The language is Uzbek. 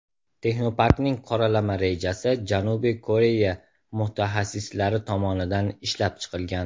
Texnoparkning qoralama rejasi Janubiy Koreya mutaxassislari tomonidan ishlab chiqilgan.